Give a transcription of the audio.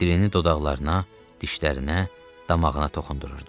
Dilini dodaqlarına, dişlərinə, damağına toxundururdu.